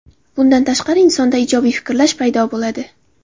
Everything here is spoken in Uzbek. Bundan tashqari, insonda ijobiy fikrlash paydo bo‘ladi.